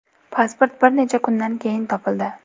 Pasport bir necha kundan keyin topildi.